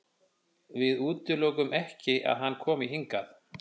Við útilokum ekki að hann komi hingað.